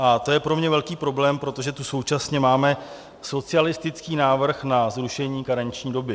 A to je pro mě velký problém, protože tu současně máme socialistický návrh na zrušení karenční doby.